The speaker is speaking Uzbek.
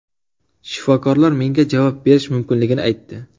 Shifokorlar menga javob berish mumkinligini aytdi.